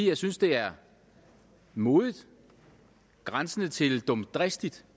jeg synes det er modigt grænsende til dumdristigt